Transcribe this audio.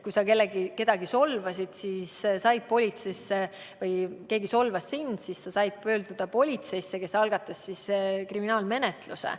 Kui sa kedagi solvasid või keegi solvas sind, siis sai pöörduda politseisse, kes algatas kriminaalmenetluse.